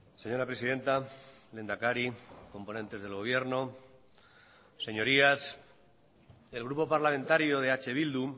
señora presidenta lehendakari componentes del gobierno señorías el grupo parlamentario de eh bildu